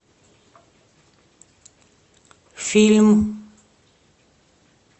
фильм